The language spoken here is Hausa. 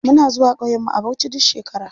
Muna zuwa ƙauyen mu a bauchi duk shekara.